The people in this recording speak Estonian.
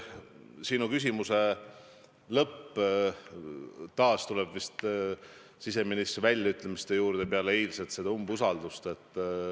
Sa oma küsimuse lõpus tulid taas siseministri väljaütlemiste juurde peale eilset umbusalduse avaldamise katset.